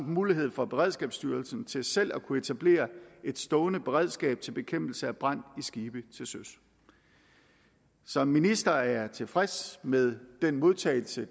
mulighed for beredskabsstyrelsen til selv at kunne etablere et stående beredskab til bekæmpelse af brand i skibe til søs som minister er jeg tilfreds med den modtagelse